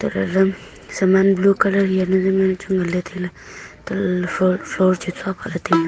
saman blue colour hianu zaam chu nganle taile antolale floor floor chu chua phale taile.